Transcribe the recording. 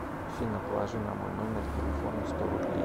афина положи на мой номер телефона сто рублей